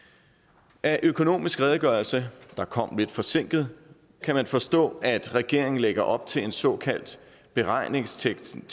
af økonomiske redegørelse der kom lidt forsinket kan man forstå at regeringen lægger op til en såkaldt beregningsteknisk